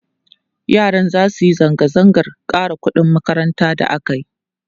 yaran zasu Yi zanga zangan ƙara ƙuɗin makaranta da akayi